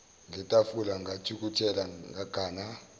ngetafula ngathukuthela ngagana